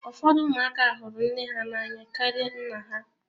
Ụfọdụ ụmụaka hụrụ nne ha n'anya karịa nna ha.